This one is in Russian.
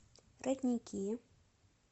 родники